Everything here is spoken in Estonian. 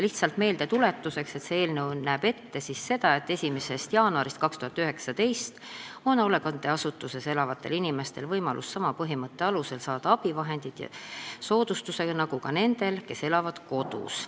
Lihtsalt meeldetuletuseks, see eelnõu näeb ette, et 1. jaanuarist 2019 on hoolekandeasutuses elavatel inimestel võimalus saada abivahendeid soodustusega sama põhimõtte alusel nagu nendel, kes elavad kodus.